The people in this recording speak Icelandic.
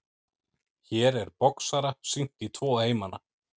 Hér er boxara sýnt í tvo heimana.